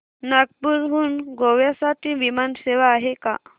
नागपूर हून गोव्या साठी विमान सेवा आहे का